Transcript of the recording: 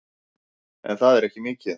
En það er ekki mikið.